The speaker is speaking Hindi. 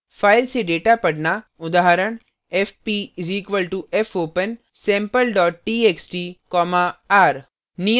file से data पढ़ना उदाहरण fp = fopen sample txt r;